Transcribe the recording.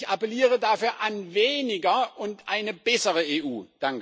Ich appelliere dafür an weniger und eine bessere EU.